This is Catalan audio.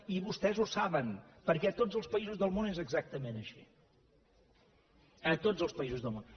i vostès ho saben perquè a tots els països del món és exactament així a tots els països del món